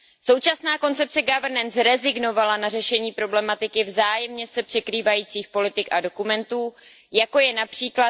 Současná koncepce Governance rezignovala na řešení problematiky vzájemně se překrývajících politik a dokumentů, jako je např.